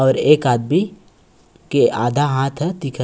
और एक आदमी के आधा हाथ ह दिखत हे।